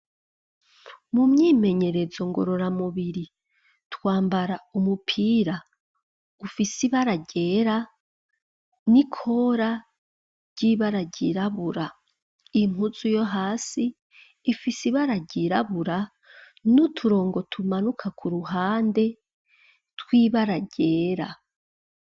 Mumyimenyerezo ngorora mubiri, twambara umupira ufise ibara ryera, n'Ikora ryibara ryirabura, impuzu yohasi ifise ibara ryirabura, n'uturongo tumanuka Kuruhande ,twibara ryera.